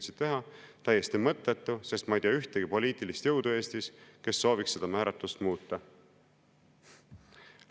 – V. V.] täiesti mõttetu, sest ma ei tea Eestis ühtegi poliitilist jõudu, mis sooviks seda määratlust muuta.